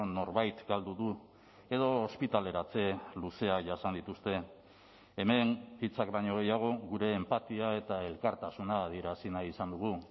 norbait galdu du edo ospitaleratze luzea jasan dituzte hemen hitzak baino gehiago gure enpatia eta elkartasuna adierazi nahi izan dugu